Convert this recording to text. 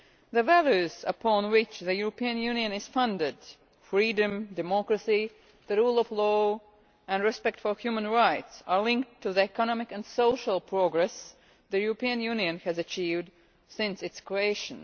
The values upon which the European Union is founded freedom, democracy, the rule of law and respect for human rights are linked to the economic and social progress the European Union has achieved since its creation.